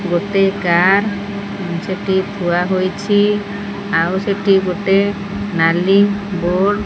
ଗୋଟେ କାର ଉଁ ସେଟି ଥୁଆ ହୋଇଛି ଆଉ ସେଟି ଗୋଟେ ନାଲି ବୋର୍ଡ --